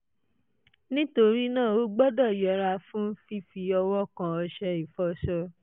nítorí náà o gbọ́dọ̀ yẹra fún fífi ọwọ́ kan ọṣẹ ìfọṣọ